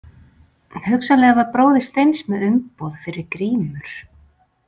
Hugsanlega var bróðir Steins með umboð fyrir grímur.